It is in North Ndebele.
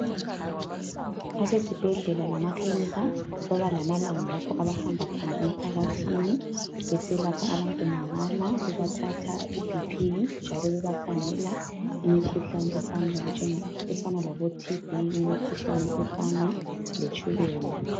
Abesibhedlela lemaklinika babalamalanga lapho abahamba khona emphakathini beselapha abantu mahala bebathatha ibp njalo bebakhangela imkhuhlane efana laboTB imikhuhlane efana letshukela.